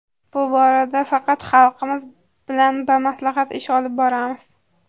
Bu borada faqat xalqimiz bilan bamaslahat ish olib boramiz.